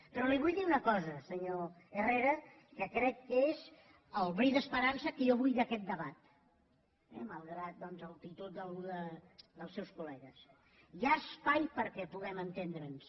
però li vull dir una cosa senyor herrera que crec que és el bri d’esperança que jo vull d’aquest debat malgrat doncs l’actitud d’alguns dels seus col·ha espai perquè puguem entendre’ns